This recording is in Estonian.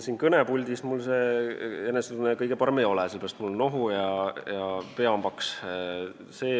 Siin kõnepuldis mul see enesetunne kõige parem ei ole, sellepärast, et mul on nohu ja pea on paks.